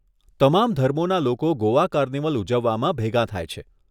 તમામ ધર્મોના લોકો ગોવા કાર્નિવલ ઉજવવામાં ભેગાં થાય છે.